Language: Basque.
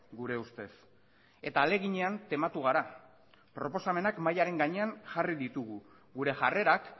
gure ustez eta ahaleginean tematu gara proposamenak mahaiaren gainean jarri ditugu gure jarrerak